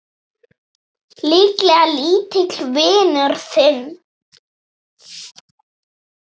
Líklega lítill vinur þinn!